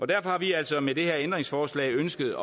derfor har vi altså med det her ændringsforslag ønsket